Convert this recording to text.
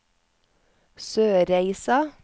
Sørreisa